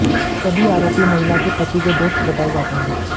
सभी आरोपी महिला के पति के दोस्त बताए जाते हैं